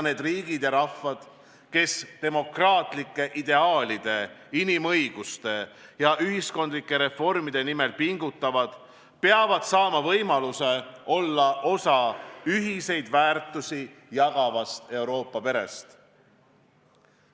Need riigid ja rahvad, kes demokraatlike ideaalide, inimõiguste ja ühiskondlike reformide nimel pingutavad, peavad saama võimaluse olla osa ühiseid väärtusi jagavast Euroopa perest.